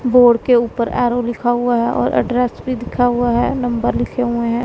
Board के ऊपर arrow लिखा हुआ है और एड्रेस भी लिखा हुआ है नंबर लिखे हुए हैं।